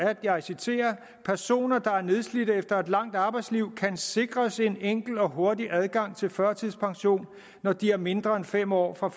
og jeg citerer at personer der er nedslidte efter et langt arbejdsliv kan sikres en enkel og hurtig adgang til førtidspension når de er mindre end fem år fra